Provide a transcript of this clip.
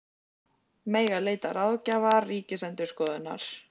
Mega leita ráðgjafar Ríkisendurskoðunar